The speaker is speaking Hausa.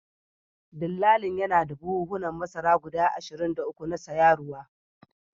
Dillalin yana da buhunan masara guda ashirin da uku na sayaruwa